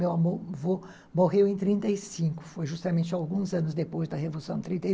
Meu avô morreu em trinta e cinco, foi justamente alguns anos depois da Revolução de trinta